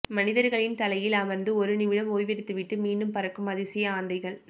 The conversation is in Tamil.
மனிதர்களின் தலையில் அமர்ந்து ஒரு நிமிடம் ஓய்வெடுத்துவிட்டு மீண்டும் பறக்கும் அதிசய ஆந்தைகள்